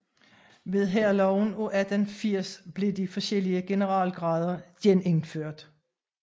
Ved Hærloven af 1880 blev de forskellige general grader genindført